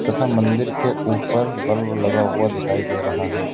तथा मंदिर के ऊपर बल्ब लगा हुआ दिखाई दे रहा है।